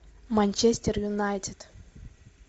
манчестер юнайтед